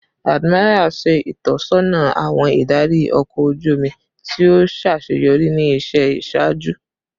Admiral naa ṣe itọsọna awọn idari ọkọ oju omi ti o ṣaṣeyọri ni iṣẹ iṣaaju